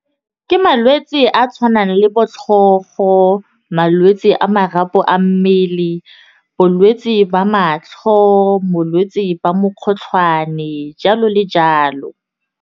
Ke malwetse a tshwanang le bo tlhogo, malwetse a marapo a mmele, bolwetse ba matlho, bolwetse ba mokgotlhwane jalo le jalo.